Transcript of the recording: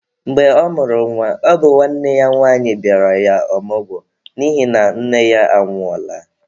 Mgbe ọ mụrụ nwa, ọ bụ nwanne ya nwanyi bịara ya ọmụgwọ n'ihi na nne ya anwụọla.